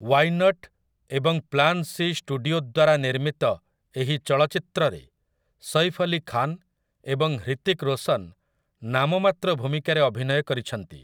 Why not ଏବଂ ପ୍ଲାନ୍ ସି ଷ୍ଟୁଡିଓ ଦ୍ୱାରା ନିର୍ମିତ ଏହି ଚଳଚ୍ଚିତ୍ରରେ ସୈଫ୍ ଅଲି ଖାନ୍ ଏବଂ ହ୍ରିତିକ୍ ରୋଶନ୍ ନାମମାତ୍ର ଭୂମିକାରେ ଅଭିନୟ କରିଛନ୍ତି ।